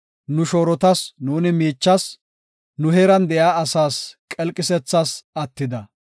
Nu shoorotas nuuni miichas, nu heeran de7iya asaas qelqisethas attida.